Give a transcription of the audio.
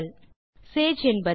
முதலில் சேஜ் என்றால் என்ன